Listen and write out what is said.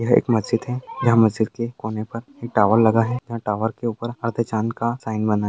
यह एक मस्जिद है यह मस्जिद के कोनो पर एक टॉवर लगा है यहां टॉवर के ऊपर अर्द्ध चांद का साइन बना है।